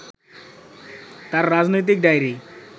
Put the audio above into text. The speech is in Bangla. তাঁর রাজনৈতিক ডায়রি